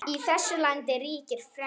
Í þessu landi ríkir frelsi!